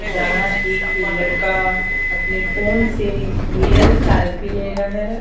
जहां एक लड़का अपने फोन से मिरर सेल्फी ले रहा है।